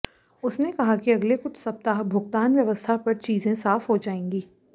उसने कहा कि अगले कुछ सप्ताह भुगतान व्यवस्था पर चीजें साफ हो जाएंगी